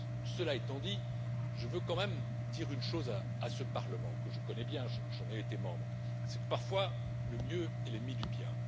Cela étant dit, je veux quand même dire une chose à ce Parlement que je connais bien, j'en ai été membre parfois, le mieux est l'ennemi du bien.